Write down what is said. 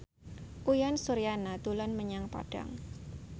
Uyan Suryana dolan menyang Padang